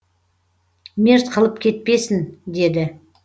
мерт қылып кетпесін деді